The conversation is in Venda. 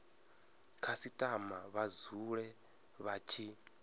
khasitama vha dzule vha tshi